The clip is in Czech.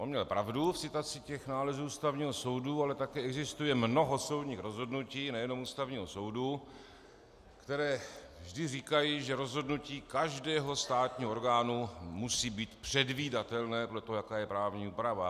On měl pravdu v citaci těch nálezů Ústavního soudu, ale také existuje mnoho soudních rozhodnutí, nejenom Ústavního soudu, která vždy říkají, že rozhodnutí každého státního orgánu musí být předvídatelné podle toho, jaká je právní úprava.